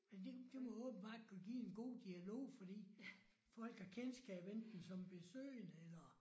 Men det det må åbenbart kunne give en god dialog fordi folk har kendskab enten som besøgende eller